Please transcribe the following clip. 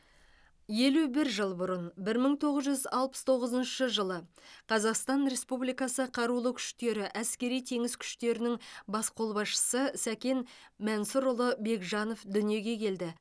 елу бір жыл бұрын бір мың тоғыз жүз алпыс тоғызыншы жылы қазақстан республикасы қарулы күштері әскери теңіз күштерінің бас қолбасшысы сәкен мәнсұрұлы бекжанов дүниеге келді